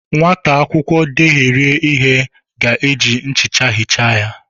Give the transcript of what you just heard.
Nwata akwụkwọ dehiere ihe ga eji nchicha hichaa ya